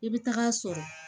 I bɛ taga sɔrɔ